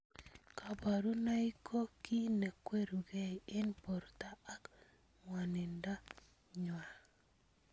Kaburunoik ko ki nekwerukei eng borto ak ng'wanindo nywa.